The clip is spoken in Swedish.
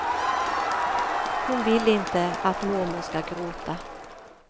Hon vill inte att mormor skall gråta.